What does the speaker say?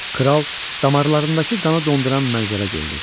Kral damarlarındakı qanı donduran mənzərə gördü.